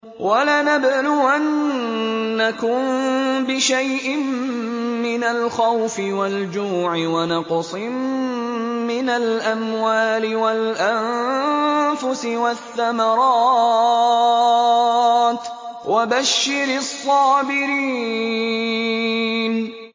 وَلَنَبْلُوَنَّكُم بِشَيْءٍ مِّنَ الْخَوْفِ وَالْجُوعِ وَنَقْصٍ مِّنَ الْأَمْوَالِ وَالْأَنفُسِ وَالثَّمَرَاتِ ۗ وَبَشِّرِ الصَّابِرِينَ